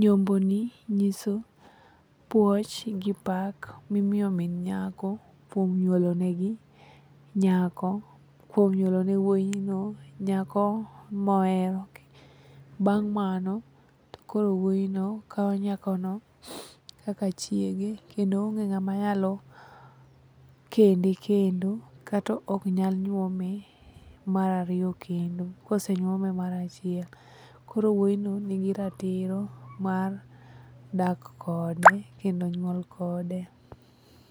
nyomboni nyiso puoch gi pak mimiyo min nyako kuom nyuolenegi nyako, kuom nyuolene wuoyino nyako mohero. Bang' mano to koro wuoyino kawo nyakono kaka chiege kendo onge ng'ama nyalo kende kendo katoknyal nyuome mar ariyo kendo kosenyuome mar achiel koro wuoyino nigi ratiro mar dak kode kendo nyuol kode.